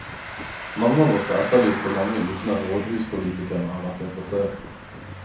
Mange av oss har etterlyst det lenge uten at rådhuspolitikerne har vært interessert.